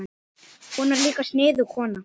Hún var líka sniðug kona.